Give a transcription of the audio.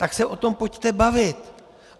Tak se o tom pojďte bavit.